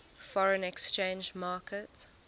foreign exchange market